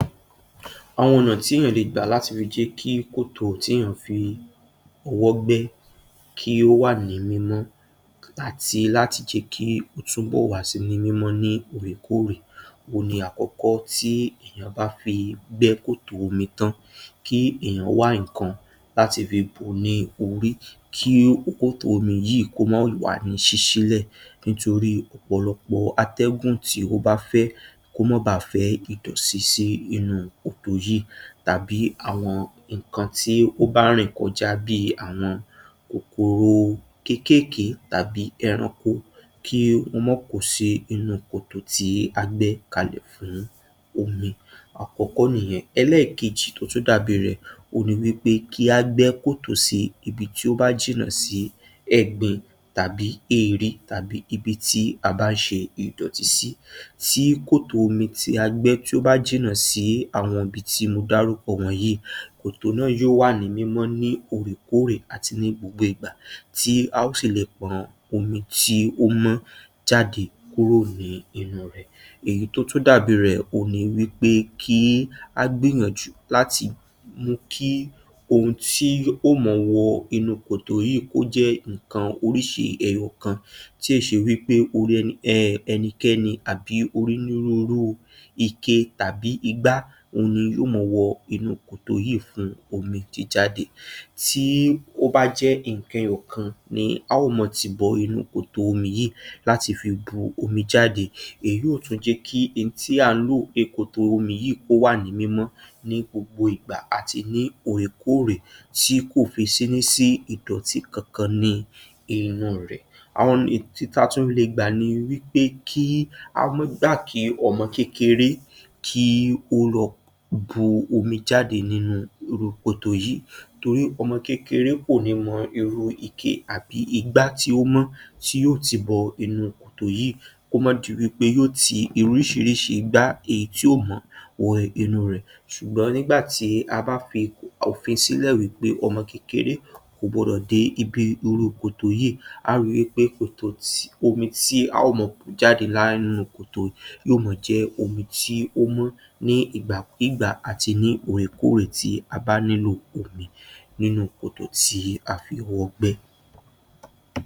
Àwọn ọ̀nà tí èèyàn lè gbà láti ri jẹ́ kí kòtò tí èeyàn fi ọwọ́ gbẹ́ kí ó wà ní mímọ́ àti láti jẹ́ kí ó túnbọ̀ wà sì ní mímọ́ ní òòrèkóòrè, òhun ni àkọ́kọ́ tí èèyàn bá fi gbẹ́ kòtò omi tán kí èèyàn wá ǹkan láti fi bò ní orí kí kòtò omi yíì kó mà wà ní ṣíṣí lẹ̀ nítorí ọ̀pọ̀lọpọ̀ atẹ́gùn tí ó bá fẹ́ kó má bà fẹ́ ìdọ̀tí sí inú kòtò yíì tàbí àwọn ǹkan tí ó bà rìn kọjá bíi àwọn kòkòrò kékéèké tàbí ẹranko kí wọ́n mọ́ kò sí inú kòtò tí a gbẹ́ kalẹ̀ fún omi, àkọ́kọ́ nìyẹn. Ẹlẹ́ẹ̀kejì tó tún dàbí rẹ̀, òhun ní wí pé kí á gbẹ́ kòtò sí ibi tí ó bá jìnnà sí ẹ̀gbin tàbí èèrí tàbí ibi tí a bá ń ṣe ìdọ̀tí sí. Tí kòtò omi tí a gbẹ́, tí ó bá jìnnà sí àwọn ibi tí mo dárúkọ wọ̀nyíì, kòtò náà yóò wà ní mímọ́ ní òòrèkóòrè àti ní gbogbo ìgbà tí aó fi le pọn omi tí ó mọ̀ jáde kúrò ní inú rẹ̀. Èyí tó tú dàbí rẹ̀, òhun ni wí pé kí á gbíyànjú láti mú kí ohun tí ó mọ wọ inú kòtò yíì kó jẹ́ ǹkan oríṣi ẹyọ kan tí ò ṣe wí pé orí ẹni, um, ẹnikẹ́ni àbí orínúrúurú ike tàbí igbá ohun ni yó mọ wọ inú kòtò yíì fún omi jíjáde. Tí ó bá jẹ́ ǹkan ẹyọ̀ kan ni aó mọ tì bọ inú kòtò omi yìí láti fi bu omi jáde, èyí yóò tú jẹ́ kí n tí à ń lò ekòtò omi yìí kò wà ní mímọ́ ní gbogbo ìgbà àti ní òòrèkóòrè tí kò fi sí ní sí idọ̀tí kankan ni inú rẹ̀. Àwọn ni, ti ta tún le gbà ni wí pé kí á mọ́ gbà kí ọmọ kékeré kí ó lọ bu omi jáde nínu irú kòtò yìí torí ọmọ kékeré kò ní mọ irú ike àbí igbá tí ó mọ́ tí ó tì bọ inú kòtò yíì kó mọ́ di wí pé yó ti irúṣiríṣi igbá èyí tí ò mọ́ wọ inú rẹ̀ ṣùgbọ́n nìgbà tí a bá fi òfin sílẹ̀ wí pé ọmọ kékeré kò gbọdọ̀ dé ibi irú kòtò yíì, á ri wí pé kòtò ti, omi tí a ó mọ bù jáde nínu kòtò yó ma jẹ́ omi tí ó mọ́ ní ìgbàkígbà àti ní òòrèkóòrè tí a bá nílò omi ninú kòtò tí a fi ọwọ́ gbẹ́.